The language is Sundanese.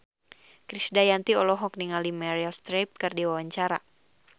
Krisdayanti olohok ningali Meryl Streep keur diwawancara